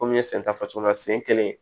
Komi n y'i sen ta fɔ cogo min na sen kelen